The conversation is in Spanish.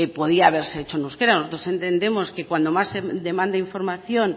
podía haberse hecho en euskera nosotros entendemos que cuando más demanda información